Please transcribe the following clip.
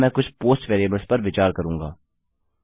अब मैं कुछ पोस्ट वेरिएबल्स पर विचार करूँगा